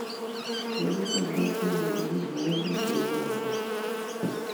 Kiinemu keldet eng ole kinyoen biik chepnyansot